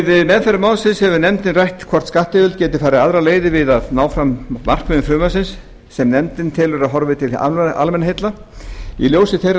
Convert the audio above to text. við meðferð málsins hefur nefndin rætt hvort skattyfirvöld geti farið aðrar leiðir við að ná fram markmiðum frumvarpsins sem nefndin telur að horfi til almannaheilla í ljósi þeirrar